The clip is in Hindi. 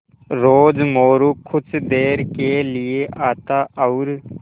रोज़ मोरू कुछ देर के लिये आता और